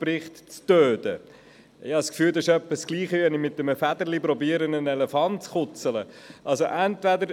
Ich habe das Gefühl, das wäre in etwa das Gleiche, wie wenn man mit einem Federchen einen Elefanten zu kitzeln versuchte.